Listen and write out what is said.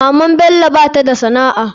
Maman bello bata da sana'a.